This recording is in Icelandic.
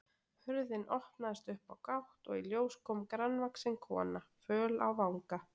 Hurðin opnaðist upp á gátt og í ljós kom grannvaxin kona, föl á vanga.